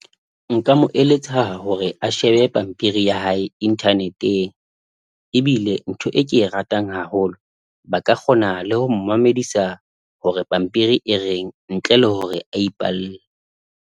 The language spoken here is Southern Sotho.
Nka mo eletsa hore a shebe pampiri ya hae internet-eng, ebile ntho e ke e ratang haholo. Ba ka kgona le ho mamedisa hore pampiri e reng ntle le hore a ipalle.